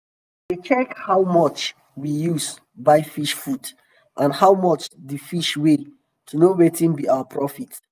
we we dey check how much um we use buy fish food and how much d fish weigh to know wetin be our profit.